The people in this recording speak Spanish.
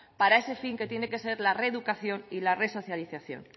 para ese fin que tiene que ser la reeducación y la resocialización